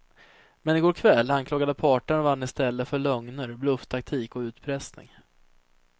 Men i går kväll anklagade parterna varandra istället för lögner, blufftaktik och utpressning.